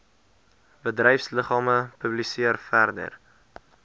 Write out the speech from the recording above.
bedryfsliggame publiseer verder